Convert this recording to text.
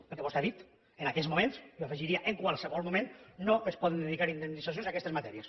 perquè vostè ha dit en aquest moment i jo hi afegiria en qualsevol moment no es poden dedicar indemnitzacions a aquestes matèries